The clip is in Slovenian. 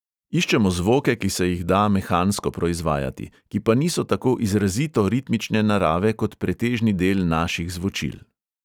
Iščemo zvoke, ki se jih da mehansko proizvajati, ki pa niso tako izrazito ritmične narave kot pretežni del naših zvočil.